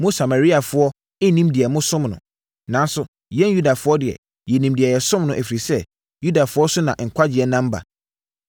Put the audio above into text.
Mo Samariafoɔ nnim deɛ mosom no. Nanso, yɛn Yudafoɔ deɛ, yɛnim deɛ yɛsom no, ɛfiri sɛ, Yudafoɔ so na nkwagyeɛ nam ba.